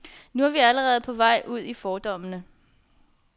Men nu er vi allerede på vej ud i fordommene.